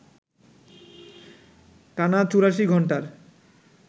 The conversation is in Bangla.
টানা ৮৪ ঘণ্টার